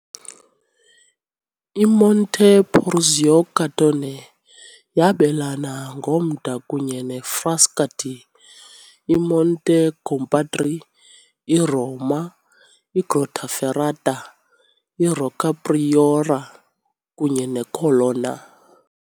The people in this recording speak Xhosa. I-Monte Porzio Catone yabelana ngomda kunye neFrascati, i-Monte Compatri, iRoma, iGrottaferrata, iRocca Priora, kunye neColonna .